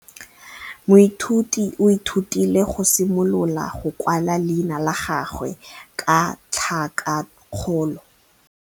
Moithuti o ithutile go simolola go kwala leina la gagwe ka tlhakakgolo.